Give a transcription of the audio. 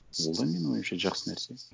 ол да менің ойымша жақсы нәрсе